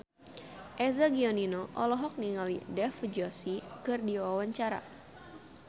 Eza Gionino olohok ningali Dev Joshi keur diwawancara